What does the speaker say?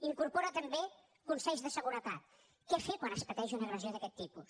incorpora també consells de seguretat què fer quan es pateix una agressió d’aquest tipus